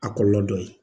A kɔlɔlɔ dɔ ye